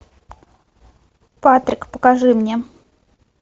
патрик покажи мне